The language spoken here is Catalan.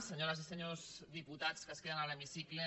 senyores i senyors diputats que es queden a l’hemicicle